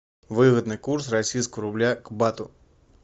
выгодный курс российского рубля к бату